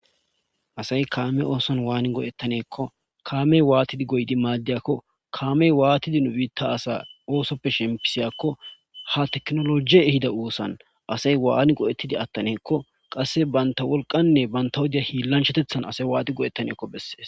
Asay kaame oosan waani go'ettaneekko kaamey waatidi goydi maaddeyakko kaamey waatidi nu biitta asa oosoppe shempisiyakko ha teknologie hida oosan asay waani go'ettidi attaneekko qasse banta wolqanne banta hodiya hiillanchatethan asay waati go'ettaneekko bessees.